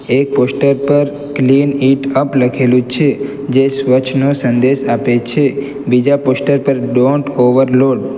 એક પોસ્ટર પર clean it up લખેલું છે જે સ્વચ્છ નો સંદેશ આપે છે બીજા પોસ્ટર પર ડોન્ટ ઓવરલોડ --